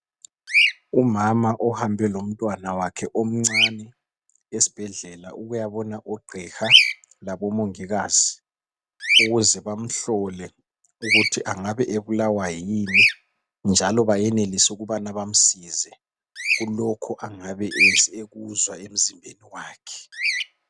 Umama ohambe lomntwana wakhe omncane esibhedlela ukuyabona OGqiha laboMongikazi ukuze bamhlole ukuthi angabe ebulawa yini njalo bayenelise ukubana bamsize kulokhu angabe ekuzwa emzimbeni wakhe.